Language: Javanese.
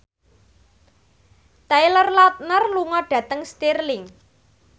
Taylor Lautner lunga dhateng Stirling